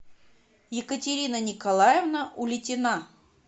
екатерина николаевна улитина